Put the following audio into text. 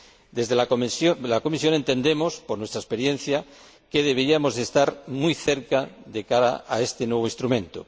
Desde la comisión entendemos, por nuestra experiencia, que deberíamos estar muy cerca de cara a este nuevo instrumento.